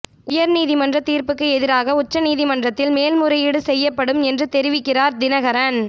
உயர் நீதிமன்ற தீர்ப்புக்கு எதிராக உச்ச நீதிமன்றத்தில் மேல் முறையீடு செய்யப்படும் என்று தெரிவிக்கிறார் தினகரன்